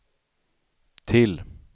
till